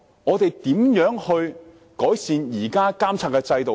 我們如何改善現有的監察制度呢？